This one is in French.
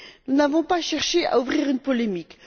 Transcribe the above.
Nous n'avons pas cherché à susciter une polémique.